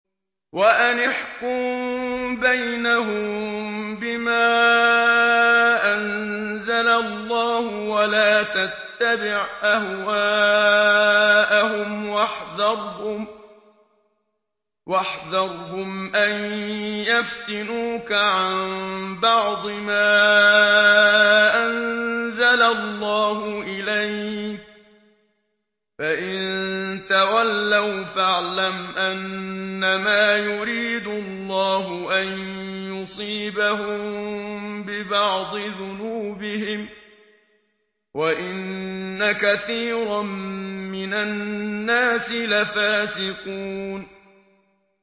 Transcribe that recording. وَأَنِ احْكُم بَيْنَهُم بِمَا أَنزَلَ اللَّهُ وَلَا تَتَّبِعْ أَهْوَاءَهُمْ وَاحْذَرْهُمْ أَن يَفْتِنُوكَ عَن بَعْضِ مَا أَنزَلَ اللَّهُ إِلَيْكَ ۖ فَإِن تَوَلَّوْا فَاعْلَمْ أَنَّمَا يُرِيدُ اللَّهُ أَن يُصِيبَهُم بِبَعْضِ ذُنُوبِهِمْ ۗ وَإِنَّ كَثِيرًا مِّنَ النَّاسِ لَفَاسِقُونَ